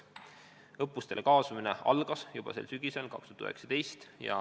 Õppustele kaasamine algas juba sel sügisel.